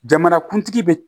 Jamanakuntigi bɛ